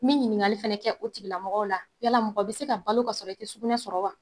Min ɲininkali fana kɛ o tigila mɔgɔw la yala mɔgɔ be se ka balo ka sɔrɔ i te sugunɛ sɔrɔ wa